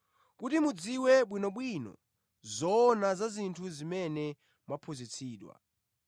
kuti mudziwe bwinobwino zoona za zinthu zimene mwaphunzitsidwa.